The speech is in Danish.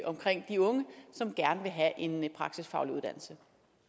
omkring de unge som gerne vil have en praktisk faglig uddannelse